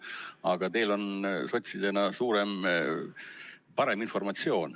Aga teil on sotsidena parem informatsioon.